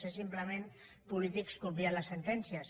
són simplement polítics que obvien les sentències